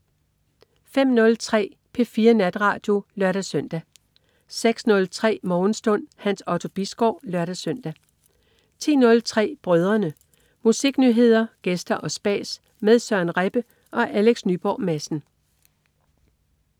05.03 P4 Natradio (lør-søn) 06.03 Morgenstund. Hans Otto Bisgaard (lør-søn) 10.03 Brødrene. Musiknyheder, gæster og spas med Søren Rebbe og Alex Nyborg Madsen